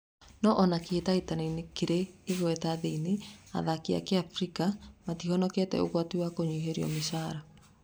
No ona kĩhĩtahĩtanoinĩ kĩrĩ igweta thĩinı, athaki a kĩafrika matihonete ũgwati wa kũnyihĩrio mĩcara.